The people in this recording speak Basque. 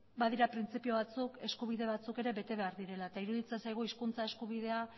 badira printzipio batzuk eskubide batzuk ere bete behar direla eta iruditzen zaigu hizkuntza eskubidea